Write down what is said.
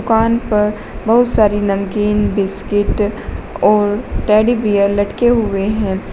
दुकान पर बहुत सारी नमकीन बिस्किट और टेडी बियर लटके हुए हैं।